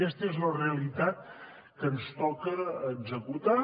aquesta és la realitat que ens toca executar